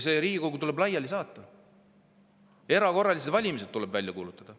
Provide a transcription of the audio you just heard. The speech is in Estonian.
See Riigikogu tuleb laiali saata, erakorralised valimised tuleb välja kuulutada.